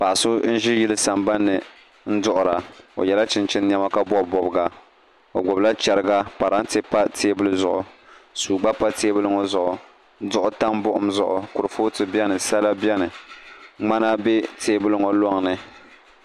Paɣa so n ʒi yili sambanni duɣura o yɛla chinchin niɛma ka bob bobga o gbubila chɛriga parantɛ pa teebuli ŋo zuɣu suu gba pa teebuli ŋo zuɣu duɣu tam buɣum zuɣu kurifooti biɛni sala bɛni ŋmana bɛ teebuli ŋo loŋni